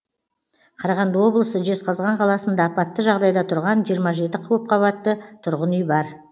қарағанды облысы жезқазған қаласында апатты жағдайда тұрған жиырма жеті көпқабатты тұрғын үй бар